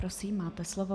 Prosím, máte slovo.